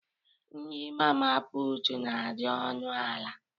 Nri Mama putu n' adị ọnụ ala